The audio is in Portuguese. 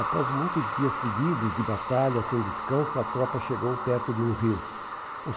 Após muitos dias seguidos de batalha sem descanso, a tropa chegou perto de um rio.